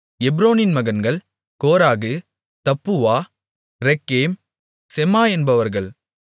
எப்ரோனின் மகன்கள் Korah Tappuah Rekem Shema என்பவர்கள்